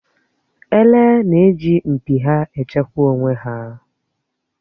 Èlé na-eji mpi ha échekwà onwé hà.